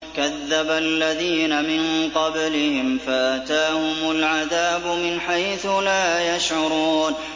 كَذَّبَ الَّذِينَ مِن قَبْلِهِمْ فَأَتَاهُمُ الْعَذَابُ مِنْ حَيْثُ لَا يَشْعُرُونَ